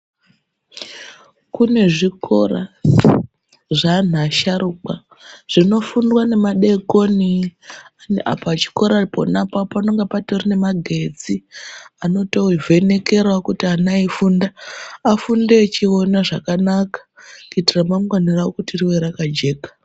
Kune zvikora zveantu asharukwa zvinofundwa nemadekoni pachikora pana apapo panonga patorine nemagetsi. Anotovhenekeravo kuti ana eifunda afunde echiona zvakanaka kuti ramangani ravo rive rakajeka.